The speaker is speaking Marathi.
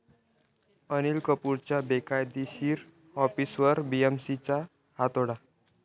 अनिल कपूरच्या बेकायदेशीर ऑफिसवर बीएमसीचा हातोडा